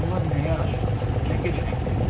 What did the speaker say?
Onlar nə yaraşıqlı, nə qəşəngdir.